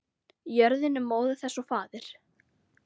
Jörðin er móðir þess og faðir.